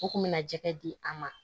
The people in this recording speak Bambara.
U kun bɛ na jɛgɛ di a ma